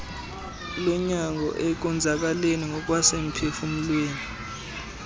lonyango ekonzakaleni ngokwasemphufumlweni